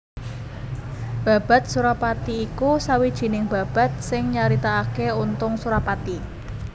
Babad Surapati iku sawijining babad sing nyaritakaké Untung Surapati